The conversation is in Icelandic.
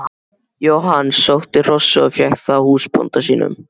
Jóhann sótti hrossið og fékk það húsbónda sínum.